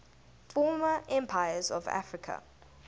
former empires of africa